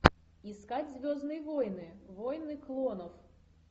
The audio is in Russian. искать звездные войны войны клонов